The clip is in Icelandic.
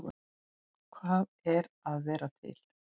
Hvað er að vera til?